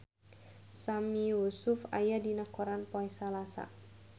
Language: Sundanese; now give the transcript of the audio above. Sami Yusuf aya dina koran poe Salasa